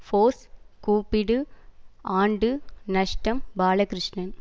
force கூப்பிடு ஆண்டு நஷ்டம் பாலகிருஷ்ணன்